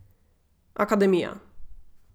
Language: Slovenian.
Akademija.